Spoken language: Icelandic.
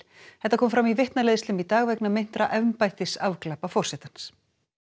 þetta kom fram í vitnaleiðslum í dag vegna meintra embættisafglapa forsetans